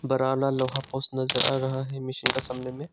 लोहा पोस्ट नजर आ रहा है मशीन का सामने में।